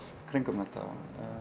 um þetta